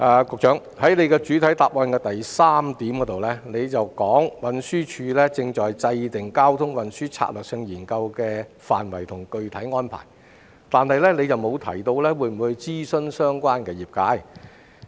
局長在主體答覆第三部分提到，運輸署正制訂《交通運輸策略性研究》的範圍及具體安排，但沒有提到會否諮詢相關業界。